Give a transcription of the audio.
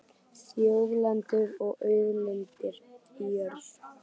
Þjóðlendur og auðlindir í jörðu